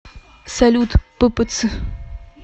салют ппц